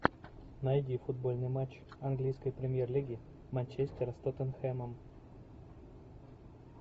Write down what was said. найди футбольный матч английской премьер лиги манчестер с тоттенхэмом